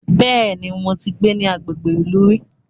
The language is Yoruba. Bẹ́ẹ̀ni, mo ti gbé ní agbègbè ìlú rí